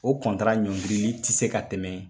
O ɲɔngirili tɛ se ka tɛmɛ